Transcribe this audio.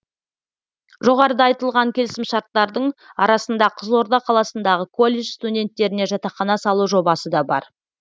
жоғарыда айтылған келісімшарттардың арасында қызылорда қаласындағы колледж студенттеріне жатақхана салу жобасы да бар